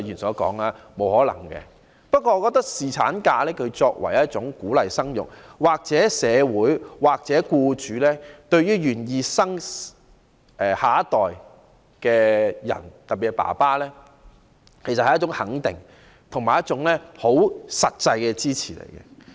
不過，我認為侍產假作為一種鼓勵生育的舉措，是社會或僱主對於願意生育下一代的人的一種肯定，亦是一種實際的支持。